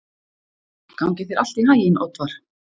Gangi þér allt í haginn, Oddvar.